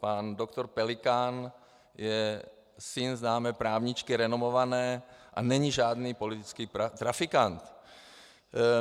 Pan doktor Pelikán je syn známé právničky, renomované, a není žádný politický trafikant.